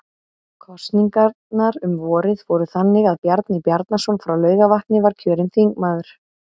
Kosningarnar um vorið fóru þannig að Bjarni Bjarnason frá Laugarvatni var kjörinn þingmaður